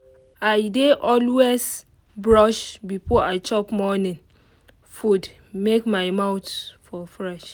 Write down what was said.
i dey always brush before i chop morning food make my mouth for fresh.